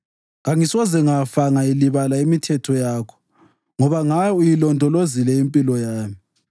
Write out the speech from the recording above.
Kangisoze ngafa ngayilibala imithetho yakho, ngoba ngayo uyilondolozile impilo yami.